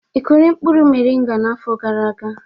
Ị kụrụ mkpụrụ moringa n'afọ gara aga?